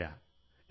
എന്നാൽ എത്തി